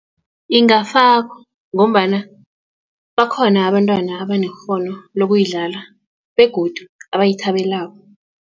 Ingafakwa ngombana bakhona abantwana abanekghono lokuyidlala begodu abayithabeleko.